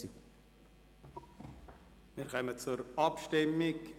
Wir kommen zur Abstimmung.